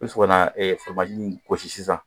I bɛ sɔrɔ ka na nin gosi sisan